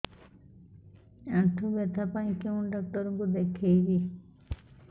ଆଣ୍ଠୁ ବ୍ୟଥା ପାଇଁ କୋଉ ଡକ୍ଟର ଙ୍କୁ ଦେଖେଇବି